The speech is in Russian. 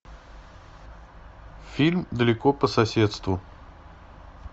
фильм далеко по соседству